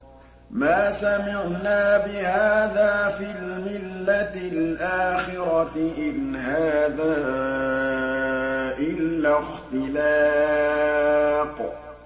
مَا سَمِعْنَا بِهَٰذَا فِي الْمِلَّةِ الْآخِرَةِ إِنْ هَٰذَا إِلَّا اخْتِلَاقٌ